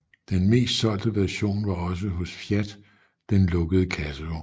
Den mest solgte version var også hos Fiat den lukkede kassevogn